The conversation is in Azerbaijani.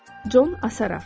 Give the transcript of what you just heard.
Con Asaraf.